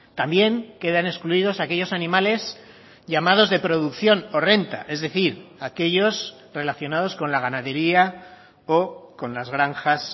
también quedan excluidos aquellos animales llamados de producción o renta es decir aquellos relacionados con la ganadería o con las granjas